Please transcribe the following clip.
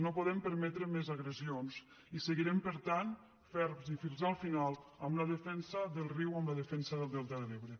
no podem permetre més agressions i seguirem per tant ferms i fins al final amb la defensa del riu amb la defensa del delta de l’ebre